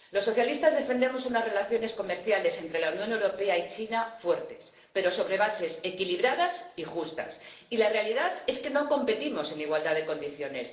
Los socialistas defendemos unas relaciones comerciales entre la Unión Europea y China fuertes pero sobre bases equilibradas y justas, y la realidad es que no competimos en igualdad de condiciones.